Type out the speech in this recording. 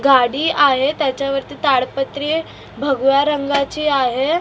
गाडी आहे त्याच्यावरती ताडपत्री भगव्या रंगाची आहे भगव्या रंगाची आहे .